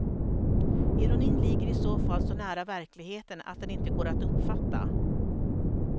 Ironin ligger i så fall så nära verkligheten att den inte går att uppfatta.